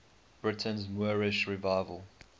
britain's moorish revival